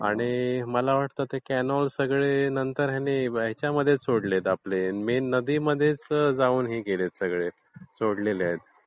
आणि मला वाटतं हे कॅनोल सगळे ह्याच्यामध्ये सोडले आहेत... नदीमध्ये सोडलेले आहेत.